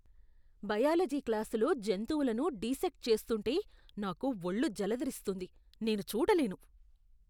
Biology క్లాసులో జంతువులను dissect చేస్తుంటే నాకు వళ్ళు జలదరిస్తుంది, నేను చూడలేను.